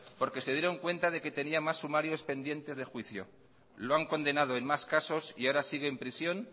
porque se dieron cuenta de que tenía más sumarios pendientes de juicio lo han condenado en más casos y ahora sigue en prisión